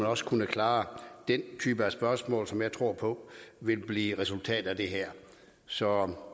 også kunne klare den type af spørgsmål som jeg tror på vil blive resultatet af det her så